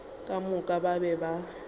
ka moka ba be ba